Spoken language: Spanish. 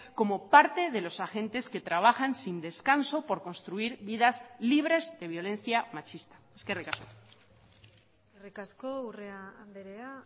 como parte de los agentes que trabajan sin descanso por construir vidas libres de violencia machista eskerrik asko eskerrik asko urrea andrea